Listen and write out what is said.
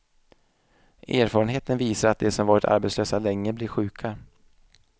Erfarenheten visar att de som varit arbetslösa länge blir sjuka.